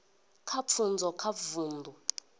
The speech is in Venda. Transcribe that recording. kha pfunzo kha vundu